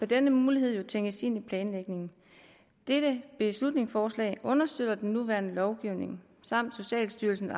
denne mulighed jo tænkes ind i planlægningen dette beslutningsforslag understøtter den nuværende lovgivning samt socialstyrelsen